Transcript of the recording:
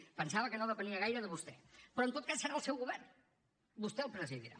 pensava que no depenia gaire de vostè però en tot cas serà el seu govern vostè el presidirà